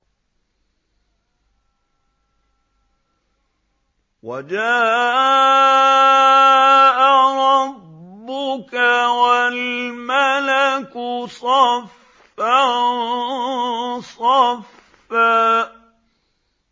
وَجَاءَ رَبُّكَ وَالْمَلَكُ صَفًّا صَفًّا